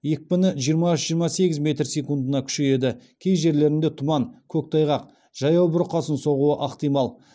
екпіні жиырма үш жиырма сегіз метр секундына күшейеді кей жерлерінде тұман көктайғақ жаяу бұрқасын соғуы ықтимал